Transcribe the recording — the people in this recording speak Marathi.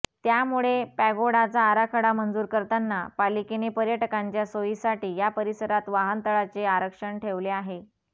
त्यामुळे पॅगोडाचा आराखडा मंजूर करताना पालिकेने पर्यटकांच्या सोयीसाठी या परिसरात वाहनतळाचे आरक्षण ठेवले आहे